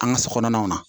An ka so kɔnɔnaw na